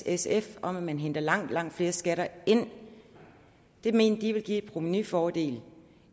sf om at man henter langt langt flere skatter ind og det mente de ville give en provenufordel